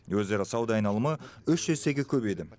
өзара сауда айналымы үш есеге көбейді